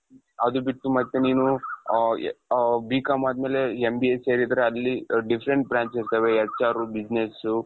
ಅದು ಬಿಟ್ಟು ಮತ್ತೆ ನೀನು ಅ ಅ B.com ಅದಮೇಲೆ MBA ಸೇರಿದ್ರೆ ಅಲ್ಲಿ different branches ಇರ್ತವೆ HR business .